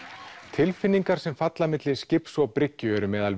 tilfinningar sem falla milli skips og bryggju eru meðal